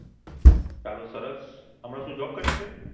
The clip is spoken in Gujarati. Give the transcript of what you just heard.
ચાલો સરસ હમણાં શું Job કરે છે